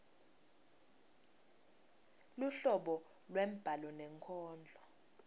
luhlobo lwembhalo nenkondlo